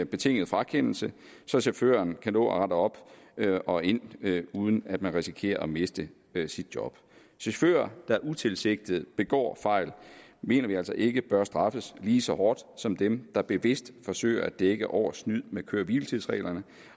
betinget frakendelse så chaufføren kan nå at rette op og ind uden at risikere at miste sit job chauffører der utilsigtet begår fejl mener vi altså ikke bør straffes lige så hårdt som dem der bevidst forsøger at dække over snyd med køre hvile tids reglerne